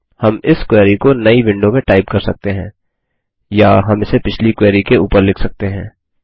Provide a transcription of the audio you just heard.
हम इस क्वेरी को नई विंडो में टाइप कर सकते हैं या हम इसे पिछली क्वेरी के ऊपर लिख सकते हैं